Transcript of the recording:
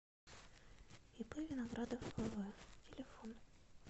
ип виноградов вв телефон